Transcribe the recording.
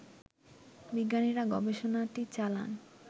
বিজ্ঞানীরা গবেষণাটি চালান